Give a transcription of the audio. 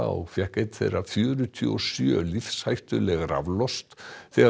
og fékk einn þeirra fjörutíu og sjö lífshættuleg raflost þegar